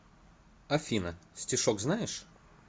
афина стишок знаешь